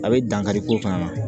A bɛ dankari ko fana na